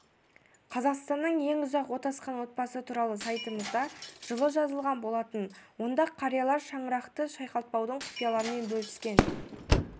қазақстанның ең ұзақ отасқан отбасы туралы сайтымызда жылы жазылған болатын онда қариялар шаңырақты шайқалтпаудың құпияларымен бөліскен